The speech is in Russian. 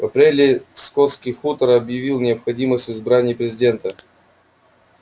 в апреле скотский хутор объявил необходимость в избрании президента